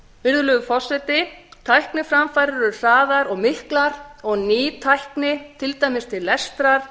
virðulegur forseti tækniframfarir eru hraðar og miklar og ný tæki til dæmis til lestrar